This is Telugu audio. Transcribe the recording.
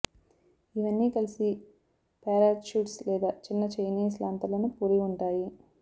ఇవన్నీ కలిసి పారాచ్యుట్స్ లేదా చిన్న చైనీస్ లాంతర్లను పోలి ఉంటాయి